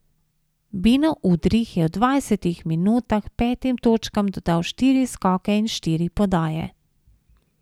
Beno Udrih je v dvajsetih minutah petim točkam dodal štiri skoke in štiri podaje.